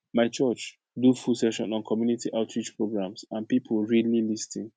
my church do full session on community outreach programs and people really lis ten